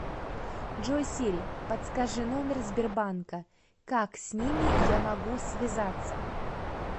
джой сири подскажи номер сбербанка как с ними я могу связаться